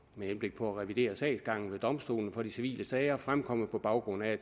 med henblik på at revidere sagsgangen ved domstolene for de civile sager fremkommet på baggrund af